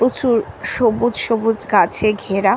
প্রচুর সবুজ সবুজ গাছে ঘেরা--